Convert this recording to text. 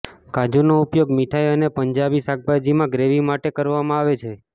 કાજુનો ઉપયોગ મિઠાઈ અને પંજાબી શાકભાજીમાં ગ્રેવી માટે કરવામાં આવે છે